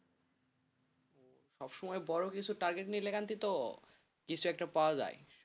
সব সময় বড় কিছু target নিলে তো কিছু একটা পাওয়া যায়।